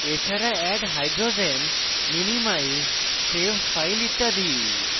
এছাড়া add hydrogens minimize save file ইত্যাদি